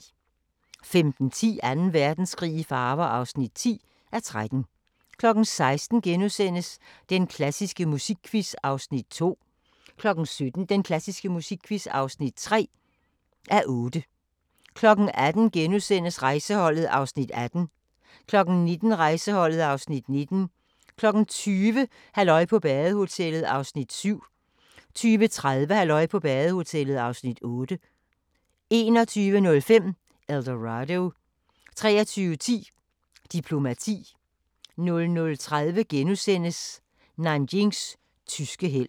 15:10: Anden Verdenskrig i farver (10:13) 16:00: Den klassiske musikquiz (2:8)* 17:00: Den klassiske musikquiz (3:8) 18:00: Rejseholdet (Afs. 18)* 19:00: Rejseholdet (Afs. 19) 20:00: Halløj på badehotellet (7:12) 20:30: Halløj på badehotellet (8:12) 21:05: El Dorado 23:10: Diplomati 00:30: Nanjings tyske helt *